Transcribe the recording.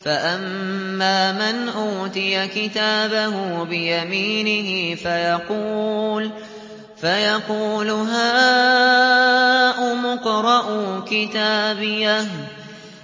فَأَمَّا مَنْ أُوتِيَ كِتَابَهُ بِيَمِينِهِ فَيَقُولُ هَاؤُمُ اقْرَءُوا كِتَابِيَهْ